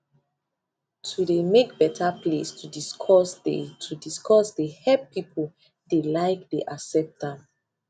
to dey make better place to discuss dey to discuss dey help people dey like dey accept dem